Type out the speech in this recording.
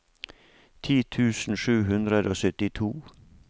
ti tusen sju hundre og syttito